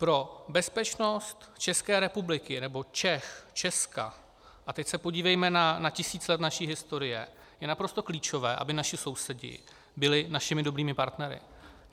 Pro bezpečnost České republiky nebo Čech, Česka, a teď se podívejme na tisíc let naší historie, je naprosto klíčové, aby naši sousedi byli našimi dobrými partnery.